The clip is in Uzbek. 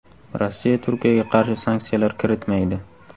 Rossiya Turkiyaga qarshi sanksiyalar kiritmaydi .